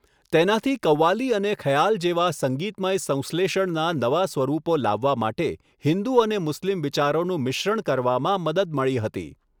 તેનાથી કવ્વાલી અને ખ્યાલ જેવા સંગીતમય સંશ્લેષણના નવા સ્વરૂપો લાવવા માટે હિન્દુ અને મુસ્લિમ વિચારોનું મિશ્રણ કરવામાં મદદ મળી હતી.